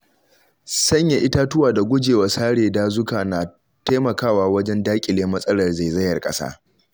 Sanya itatuwa da gujewa sare dazuka na taimakawa wajen dakile matsalar zaizayar ƙasa.